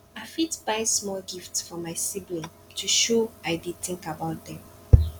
i fit buy small gift for my sibling to show i dey think about them